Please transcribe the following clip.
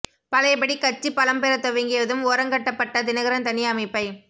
பழையபடி கட்சி பலம் பெறத் துவங்கியதும் ஓரங்கட்டப்பட்ட தினகரன் தனி அமைப்பை